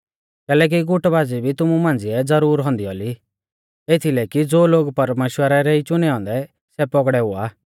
कैलैकि गुटबाज़ी भी तुमु मांझ़िऐ ज़रूर औन्दी औली एथीलै कि ज़ो लोग परमेश्‍वरा रै ई चुनै औन्दै सै पौगड़ै हुआ